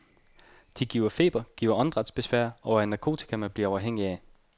De giver feber, giver åndedrætsbesvær og er narkotika, man bliver afhængig af.